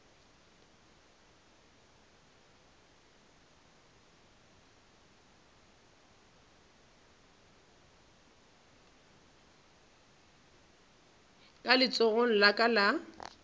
ka letsogong la ka la